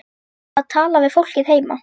Að tala við fólkið heima.